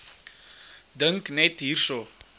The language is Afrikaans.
dink net hierso